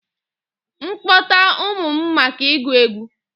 M kpọta ụmụ m maka ịgụ egwu?